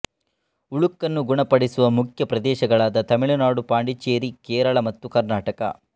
ಉಳುಕನ್ನು ಗುಣಪಡಿಸುವ ಮುಖ್ಯ ಪ್ರದೇಶಗಳಾದ ತಮಿಳುನಾಡು ಪಾಂಡಿಚೆರಿ ಕೇರಳ ಮತ್ತು ಕರ್ನಾಟಕ